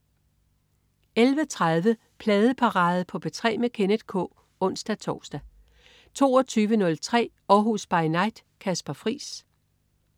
11.30 Pladeparade på P3 med Kenneth K (ons-tors) 22.03 Århus By Night. Kasper Friis